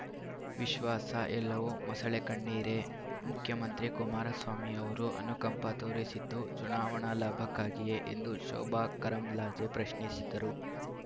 ವಿಶ್ವಾಸ ಎಲ್ಲವೂ ಮೊಸಳೆ ಕಣ್ಣೀರೇ ಮುಖ್ಯಮಂತ್ರಿ ಕುಮಾರಸ್ವಾಮಿ ಅವರು ಅನುಕಂಪ ತೋರಿಸಿದ್ದು ಚುನಾವಣಾ ಲಾಭಕ್ಕಾಗಿಯೇ ಎಂದು ಶೋಭಾ ಕರಂದ್ಲಾಜೆ ಪ್ರಶ್ನಿಸಿದರು